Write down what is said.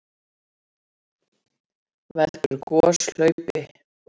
Veldur gos hlaupi?